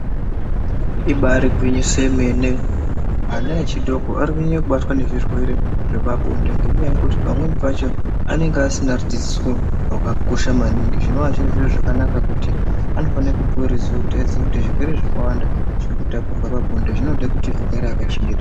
Ibari gwinyiso yemene. Ana echidoko arikunyanye kubatwa nezvirwere zvepabonde ngenyaya yekuti pamweni pacho anenge asina kudzidziswa zvakakosha maningi zvinova zviri zviro zvakanaka kuti anofane kupuwe ruziwo kuti aziye kuti zvirwere zvakawanda zvirikutapurwa pabonde zvinoda kuti agare akachengeta.